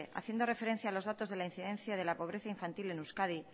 haciendo referencia a los datos de la incidencia de la pobreza infantil en euskadi